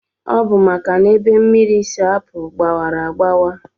Ọbu maka na ebe mmiri si apu gbawara agbawa.